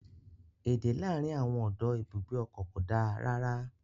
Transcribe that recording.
Èdè láàárín àwọn ọdọ ibùgbé ọkọ̀ ko da rara.